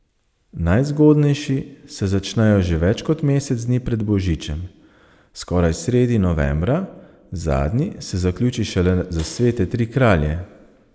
Najzgodnejši se začnejo že več kot mesec dni pred božičem, skoraj sredi novembra, zadnji se zaključi šele za svete tri kralje.